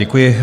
Děkuji.